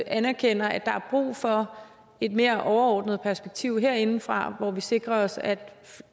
anerkender at der er brug for et mere overordnet perspektiv herindefra hvor vi sikrer os at